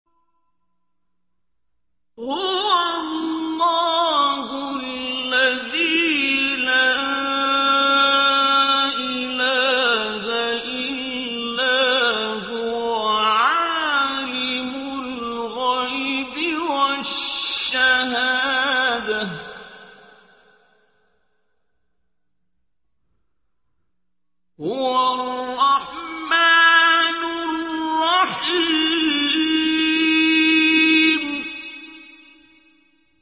هُوَ اللَّهُ الَّذِي لَا إِلَٰهَ إِلَّا هُوَ ۖ عَالِمُ الْغَيْبِ وَالشَّهَادَةِ ۖ هُوَ الرَّحْمَٰنُ الرَّحِيمُ